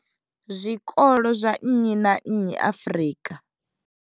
Zwikolo zwa nnyi na nnyi Afrika.